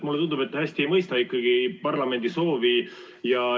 Mulle tundub, et te ikkagi ei mõista hästi parlamendi soovi.